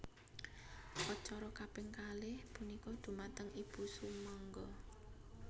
Acara kaping kalih punika dhumateng Ibu sumangga